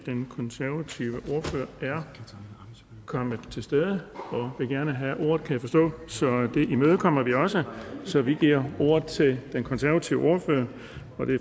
den konservative ordfører er kommet til stede og vil gerne have ordet det imødekommer vi også så vi giver ordet til den konservative ordfører